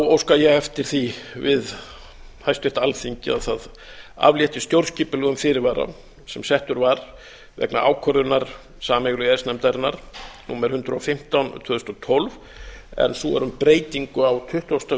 óska ég eftir því við háttvirta alþingi að það aflétti stjórnskipulegum fyrirvara sem settur var vegna ákvörðunar sameiginlegu e e s nefndarinnar númer tvö hundruð tuttugu og fimm tuttugu þúsund hundrað og tólf en sú er um breytingu á tuttugasta